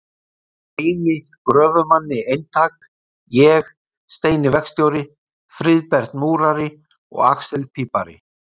Grími gröfumanni eintak, ég, Steini verkstjóri, Friðbert múrari og axel pípari.